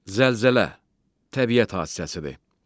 Zəlzələ təbiət hadisəsidir.